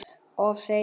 Of seinir!